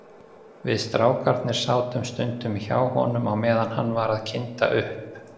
Við strákarnir sátum stundum hjá honum á meðan hann var að kynda upp.